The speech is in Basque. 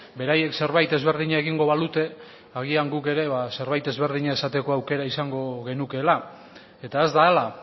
beraiek zerbait ezberdina egingo balute agian guk ere zerbait ezberdina esateko aukera izango genukeela eta ez da hala